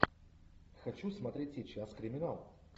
хочу смотреть сейчас криминал